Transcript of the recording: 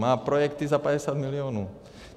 Má projekty za 50 milionů.